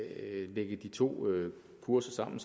lægge de to kurser sammen